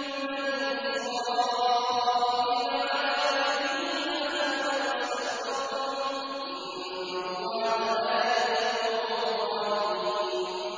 مِثْلِهِ فَآمَنَ وَاسْتَكْبَرْتُمْ ۖ إِنَّ اللَّهَ لَا يَهْدِي الْقَوْمَ الظَّالِمِينَ